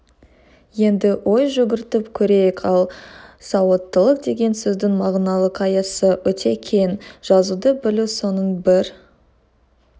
енді ой жүгіртіп көрейік ал сауаттылық деген сөздің мағыналық аясы өте кең жазуды білу соның бір